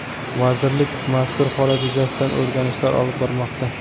vazirlik mazkur holat yuzasidan o‘rganishlar olib bormoqda.